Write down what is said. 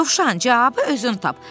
Dovşan, cavabı özün tap.